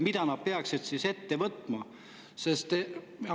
Mida nad peaksid ette võtma?